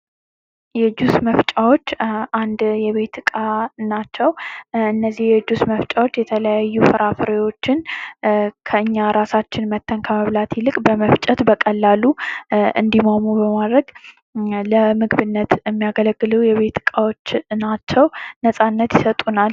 የጁስ መፍጫዎች አንድ የቤት እቃ ናቸው። እነዚህ የጁስ መፍጫዎች የተለያዩ ፍራፍሬዎችን በራሳችን ከመብላት ይልቅ በቀላሉ እንዲማሙ በማድረግ ለምግብነት የሚያገለግሉ እቃዎች ናቸው። ነፃነት ይሰጡናል።